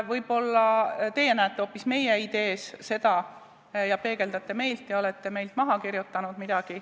Võib-olla teie olete näinud seda kõike hoopis meie idees, peegeldate meie seisukohti ja olete meilt midagi maha kirjutanud.